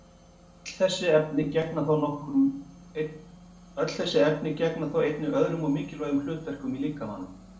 Öll þessi efni gegna þó einnig öðrum og mikilvægum hlutverkum í líkamanum.